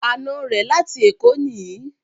Àna rẹ̀ láti Èkó nìí